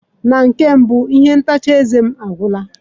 Na nke mbụ, ihe ntacha eze m agwụla.